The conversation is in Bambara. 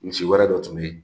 Misi wɛrɛ dɔ tun be yen